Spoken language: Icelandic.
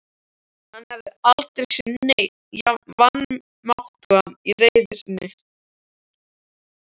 Hann hafði aldrei séð neinn jafn vanmáttugan í reiði sinni.